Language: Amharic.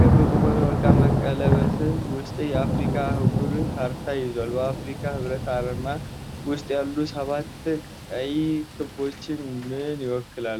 ክብ በሆነ ወርቃማ ቀለበት ውስጥ የአፍሪካን አህጉር ካርታ ይዟል። በአፍሪካ ህብረት አርማ ውስጥ ያሉት ሰባት ቀይ ክቦች ምን ይወክላሉ?